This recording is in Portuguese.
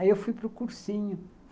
Aí eu fui para o cursinho.